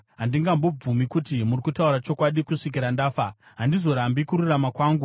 Handingambobvumi kuti muri kutaura chokwadi; kusvikira ndafa, handizorambi kururama kwangu.